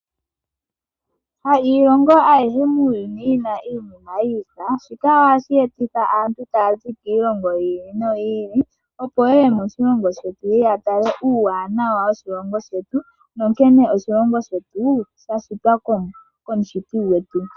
Ha iilongo ayihe muuyuni yi na iinima yi ifa, shika ohashi e titha aantu taya zi kiilongo yi ili noyi ili opo ye ye moshilongo shetu ye ye ya tale uuwanawa woshilongo shetu nankene oshilongo shetu sha shitwa kumushiti gwetu.